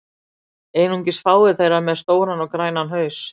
Einungis fáar þeirra eru með stóran og grænan haus.